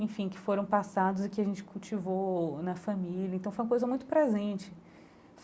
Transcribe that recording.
Enfim, que foram passados e que a gente cultivou na família, então foi uma coisa muito presente.